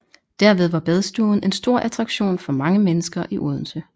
Derved var Badstuen en stor attraktion for mange mennesker i Odense